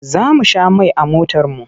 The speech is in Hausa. Za mu sha mai a motarmu.